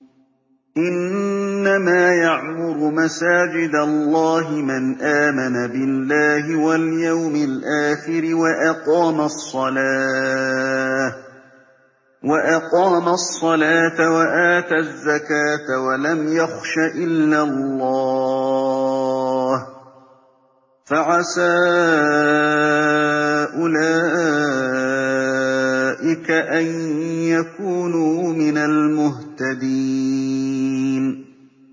إِنَّمَا يَعْمُرُ مَسَاجِدَ اللَّهِ مَنْ آمَنَ بِاللَّهِ وَالْيَوْمِ الْآخِرِ وَأَقَامَ الصَّلَاةَ وَآتَى الزَّكَاةَ وَلَمْ يَخْشَ إِلَّا اللَّهَ ۖ فَعَسَىٰ أُولَٰئِكَ أَن يَكُونُوا مِنَ الْمُهْتَدِينَ